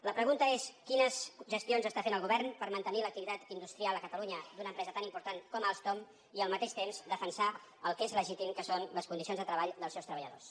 la pregunta és quines gestions està fent el govern per mantenir l’activitat industrial a catalunya d’una empresa tan important com alstom i al mateix temps defensar el que és legítim que són les condicions de treball dels seus treballadors